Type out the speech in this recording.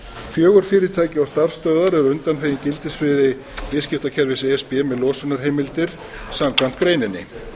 fjögur fyrirtæki og starfsstöðvar eru undanþegin gildissviði viðskiptakerfis e s b með losunarheimildir samkvæmt greininni